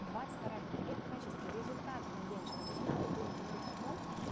двадцать вторая энергия в качестве результата на денежном канале будет говорить о том